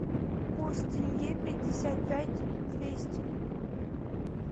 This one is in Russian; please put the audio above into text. курс тенге пятьдесят пять двести